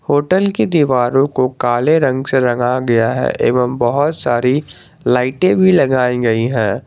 Hotel की दीवारों को काले रंग से रंगा गया है एवं बहुत सारी लाइटें भी लगाई गई हैं।